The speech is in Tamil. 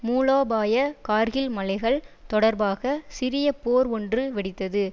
மூலோபாய கார்கில் மலைகள் தொடர்பாக சிறிய போர் ஒன்று வெடித்தது